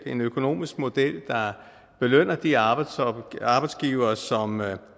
en økonomisk model der belønner de arbejdsgivere arbejdsgivere som